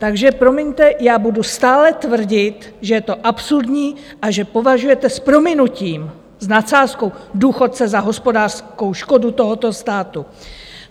Takže promiňte, já budu stále tvrdit, že je to absurdní a že považujete s prominutím, s nadsázkou, důchodce za hospodářskou škodu tohoto státu.